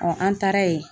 an taara ye